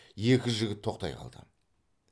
екі жігіт тоқтай қалды